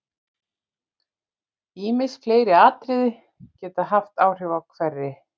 Ýmis fleiri atriði geta haft áhrif á hveri.